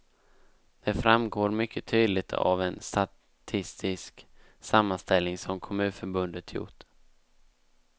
Det framgår mycket tydligt av en statistisk sammanställning som kommunförbundet gjort.